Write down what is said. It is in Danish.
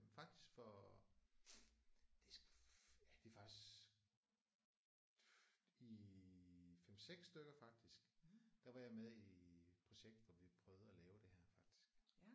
Faktisk for det er sgu ja det er faktisk i 5-6 stykker faktisk der var jeg med i et projekt hvor vi prøvede at lave det her faktisk